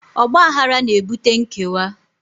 Ọgbaghara na-ebute nkewa